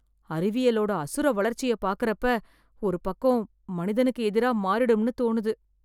அறிவியலோட அசுர வளர்ச்சியை பார்க்கிறப்ப ஒரு பக்கம் , மனிதனுக்கு எதிரா மாறிடும்னு தோணுது.